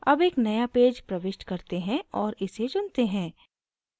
अब एक नया पेज प्रविष्ट करते हैं और इसे चुनते हैं